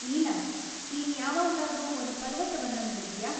ನೀಲಾ, ನೀನ್‌ ಯಾವಾಗ್ಲಾದ್ರೂ ಒಂದ್‌ ಪರ್ವತವನ್ನ ನೋಡಿದ್ಯಾ?